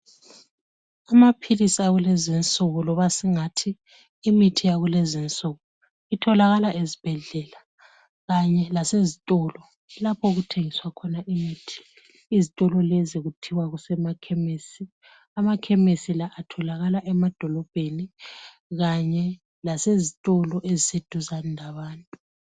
Amaphilisi akulezinsuku loba singathi imithi yakulezinsuku itholakala ezibhedlela kanye lasezitolo lapho okuthengiswa khona imithi. Izitolo lezi kuthiwa kusemakhemesi. Amakhemesi la atholakala emadolobheni kanye lasezitolo eziseduzane labantu.